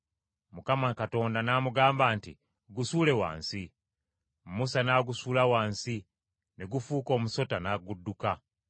Mukama Katonda n’amugamba nti, “Gusuule wansi.” Musa n’agusuula wansi; ne gufuuka omusota, n’agudduka!